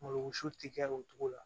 Malo su ti kɛ o cogo la